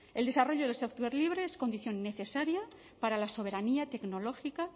el desarrollo del sector libre es condición necesaria para la soberanía tecnológica